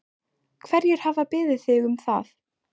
Hverjir hafa beðið þig um það?